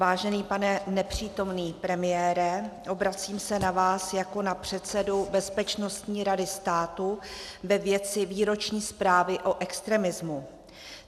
Vážený pane nepřítomný premiére, obracím se na vás jako na předsedu Bezpečnostní rady státu ve věci výroční zprávy o extremismu.